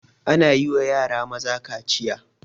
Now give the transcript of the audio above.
Ana yiwa yara maza kaciya